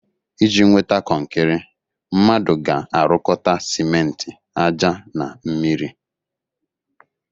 Iji nweta kọnkịrị, mmadụ ga-arụkọta simenti ájá na mmiri